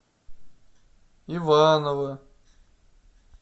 иваново